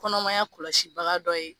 Kɔnɔmaya kɔlɔsi baga dɔ ye